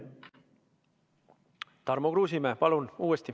Tarmo Kruusimäe uuesti, palun!